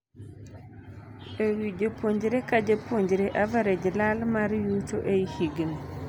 Ewii japuonjre ka japuonjre average lal mar yuto ei higni.